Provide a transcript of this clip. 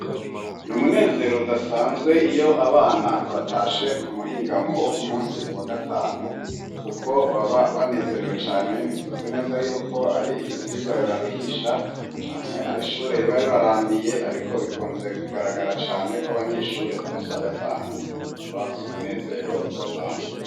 N' umunezero udasanzwe iyo abana batashe ku muhingamo wo ku munsi wa gatanu kuko baba banezerewe cane ntituzi neza yuko ari ivyigua bibaruhisha canke ar' ishure riba ribarambiye ariko bikunze kugaragara cane kw'abanyeshure ku munsi wa gatanu baba bafise umunezero udasanzwe.